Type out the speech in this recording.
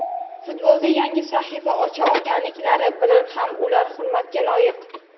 Futbolda yangi sahifa ocha olganliklari bilan ham ular hurmatga loyiq.